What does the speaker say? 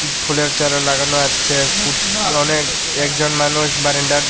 ফুলের চারা লাগানো আচ্ছে স্কু অনেক একজন মানুষ বাড়ান্ডার--